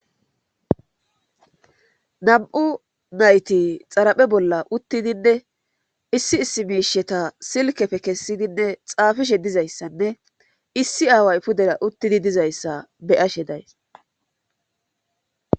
Nam'u nayti xaraphe bolla uttidinne issi issi miisheta silkefe kessidinne xaafishe dizayssanne issi aaway pudera uttidi dizayssa beyashe days.